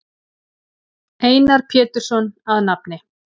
Einar Pétursson að nafni.